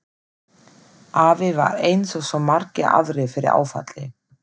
Afi varð eins og svo margir aðrir fyrir áfalli.